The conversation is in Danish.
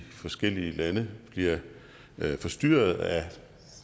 forskellige lande bliver forstyrret af